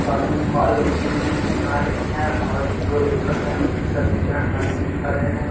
पानी में क़्वा लोग कूद-कूद के नहा रहे हैं और दो लोग ऊपर है बाकी सब नीचें है । पानी में नहा रहे है ।